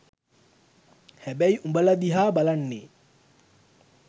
හැබැයි උඹල දිහා බලන්නේ